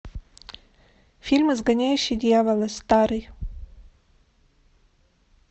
фильм изгоняющий дьявола старый